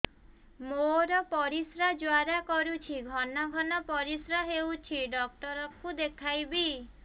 ମୋର ପରିଶ୍ରା ଜ୍ୱାଳା କରୁଛି ଘନ ଘନ ପରିଶ୍ରା ହେଉଛି ଡକ୍ଟର କୁ ଦେଖାଇବି